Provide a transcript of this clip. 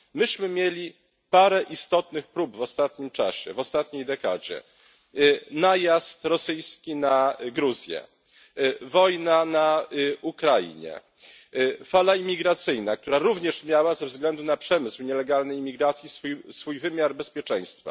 Myśmy mieli parę istotnych prób w ostatnim czasie, w ostatniej dekadzie najazd rosyjski na Gruzję, wojna na Ukrainie, fala imigracyjna, która również miała ze względu na przemysł nielegalnej imigracji swój wymiar bezpieczeństwa.